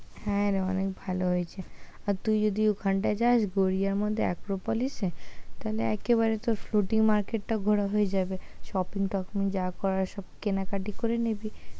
হ্যাঁ রে অনেক ভালো হয়েছে, আর তুই যদি ওইখানটা যাস গড়িয়ার মধ্যে আক্ক্রপলিস এ তাহলে একেবারে তোর মার্কেট টাও ঘোরা হয়ে যাবে শপিং টপিং যা করার সব কেনা কাটি করে নিবি।